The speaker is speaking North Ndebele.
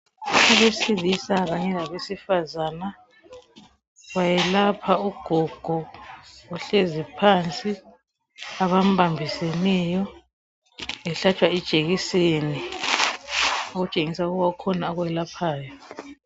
Abesilisa kanye labesifazana bayelapha ugogo ohlezi phansi abambambiseneyo ehlatshwa ijekiseni okutshengisa ukuba kukhona ukwelaphayo.